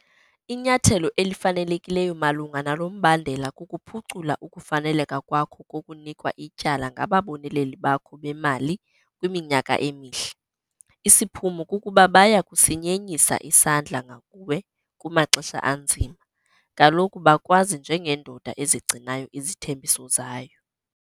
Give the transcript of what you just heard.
Inyathelo elifanelekileyo malunga nalo mbandela kukuphucula ukufaneleka kwakho kokunikwa ityala ngababoneleli bakho bemali kwiminyaka emihle. Isiphumo kukuba baya kusinyenyisa isandla ngakuwe kumaxesha anzima - kaloku bakwazi njengendoda ezigcinayo izithembiso zayo.